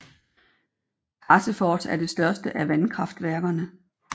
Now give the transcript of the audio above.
Karsefors er det største af vandkraftværkerne